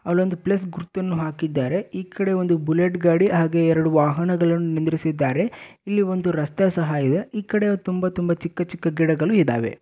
ಅಲೊಂದು plus ಗುರುತನ್ನು ಸಹ ಹಾಕಿದ್ದಾರೆ ಬುಲೆಟ್ ಗಾಡಿ ಹಾಗೂ ವಾಹನಗಳನ್ನು ನಿಲ್ಲಿಸಿದ್ದಾರೆ. ಆ ಕಡೆ ಚಿಕ್ಕ ಚಿಕ್ಕ ಗಿಡಗಳು ಸಹ ಇವೆ.